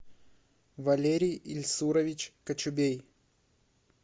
валерий ильсурович кочубей